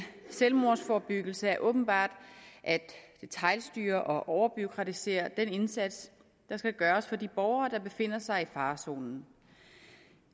selvmordsforebyggelse er åbenbart at detailstyre og overbureaukratisere den indsats der skal gøres for de borgere der befinder sig i farezonen